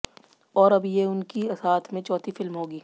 और अब ये उनकी साथ में चौथी फिल्म होगी